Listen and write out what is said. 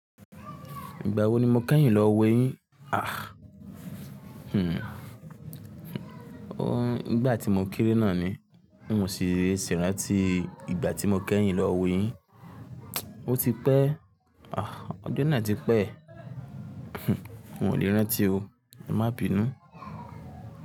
Ìgbà wo ni mo kẹ́yìn lọ wẹ yín? Hmm. O, nígbà tí mo kéré náà ni. Bí moti sí rí, sì rántí ìgbà tí mo kẹ́yìn lọ wo yín. O ti pẹ́. Ọdún náà ti pẹ́. Un o lè rántí o. Má bì nù.